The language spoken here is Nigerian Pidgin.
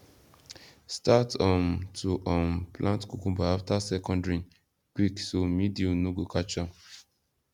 start um to um plant cucumber after second rain quick so mildew no go catch am